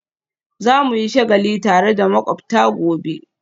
Za mu yi shagali tare da makwabta gobe